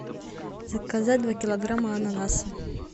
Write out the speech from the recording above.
заказать два килограмма ананаса